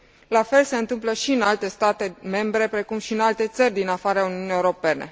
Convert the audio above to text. La fel se întâmplă și în alte state membre, precum și în alte țări din afara Uniunii Europene.